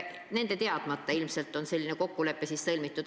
Ilmselt omavalitsuste teadmata on selline kokkulepe sõlmitud.